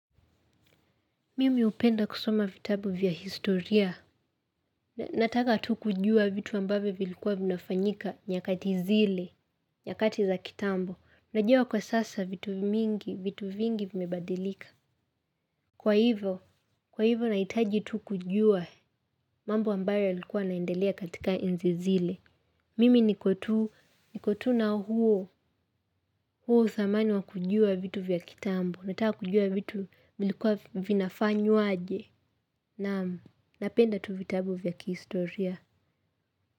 Mimi hupenda kusoma vitabu vya historia. Nataka tu kujua vitu ambavyo vilikuwa vinafanyika nyakati zile, nyakati za kitambo. Najua kwa sasa vitu mingi, vitu vingi vimebadilika. Kwa hivo, kwa hivo nahitaji tu kujua mambo ambayo yalikuwa yanaendelea katika enzi zile. Mimi niko tu, niko tu na huo, huo uthamani wa kujua vitu vya kitambo. Nataka kujua vitu vilikuwa vinafanywa aje. Naam, napenda tu vitabu vya kihistoria.